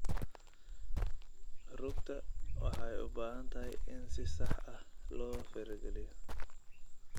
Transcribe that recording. Rugta waxay u baahan tahay in si sax ah loo farageliyo.